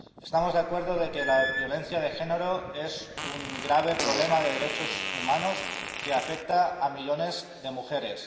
Estamos de acuerdo en que la violencia de género es un grave problema de derechos humanos que afecta a millones de mujeres.